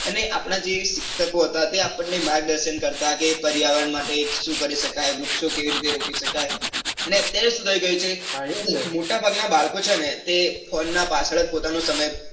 અને આપણા જે શિક્ષકો હતા. તે આપણે માર્ગદર્શન કરતા કે પર્યાવરણ માટે સુ કરી શકાય વૃક્ષઓ કઈ રીતે રોપી શકાય. ને અત્યરે સુ થઇ ગયું છે કે મોટા ભાગ ના બાળકો છે ને તે ફોન ના પાછળ જ પોતાનો સમય